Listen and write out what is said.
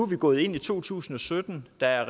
vi gået ind i to tusind og sytten der er